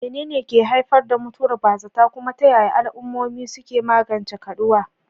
Menene ke haifar da mutuwar bazata, kuma ta yaya al'ummomi suke magance kaduwa?